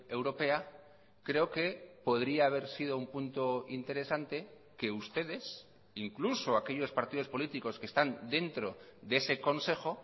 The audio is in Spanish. europea creo que podría haber sido un punto interesante que ustedes incluso aquellos partidos políticos que están dentro de ese consejo